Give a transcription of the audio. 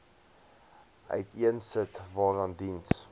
uiteensit waaraan diens